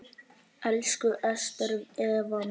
Elsku Ester Eva mín.